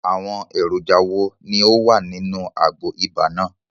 Àwọn èròjà wo ni ó wà nínú àgbo ibà náà?